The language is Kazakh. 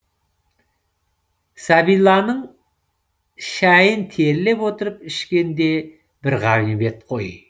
сәбиланың шайын терлеп отырып ішкен де бір ғанибет қой